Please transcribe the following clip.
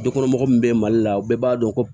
Dukɔnɔmɔgɔw min bɛ mali la bɛɛ b'a dɔn ko